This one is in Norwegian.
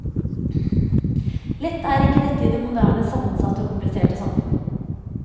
Lett er ikke dette i det moderne, sammensatte og kompliserte samfunn.